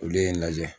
Olu ye n lajɛ